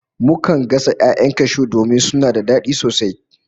Mukan gasa 'ya'yan cashew domin suna da dadi sosai